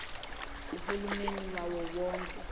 uhulumeni wawo wonke